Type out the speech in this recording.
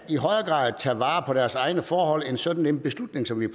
tage vare på deres egne forhold end sådan en beslutning som vi